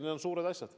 Need on suured asjad.